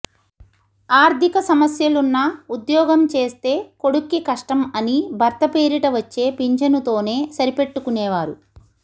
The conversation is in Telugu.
ఆర్థిక సమస్యలున్నా ఉద్యోగం చేస్తే కొడుక్కి కష్టం అని భర్త పేరిట వచ్చే పింఛనుతోనే సరిపెట్టుకునేవారు